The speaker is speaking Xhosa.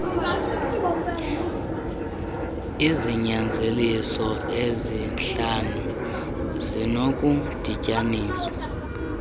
izinyanzeliso ezihlanu zinokudityaniswa